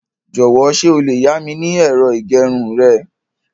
Jọ̀wọ́ ṣé o lè yá mi ní ẹ̀rọ ìgbẹrun rẹ?